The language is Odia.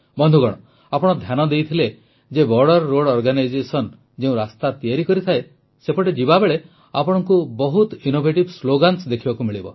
ବନ୍ଧୁଗଣ ଆପଣ ଧ୍ୟାନ ଦେଇଥିଲେ ଯେ ବୋର୍ଡର ରୋଡ୍ ଅର୍ଗାନାଇଜେସନ ଯେଉଁ ରାସ୍ତା ତିଆରି କରିଥାଏ ସେପଟେ ଯିବାବେଳେ ଆପଣଙ୍କୁ ବହୁତ ଇନୋଭେଟିଭ୍ ସ୍ଲୋଗାନ୍ସ ଦେଖିବାକୁ ମିଳିବ